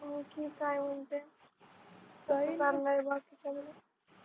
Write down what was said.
आणखी काय म्हणतेस